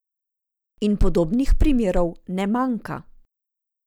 In podobnih primerov ne manjka.